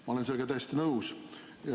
Ma olen sellega täiesti nõus.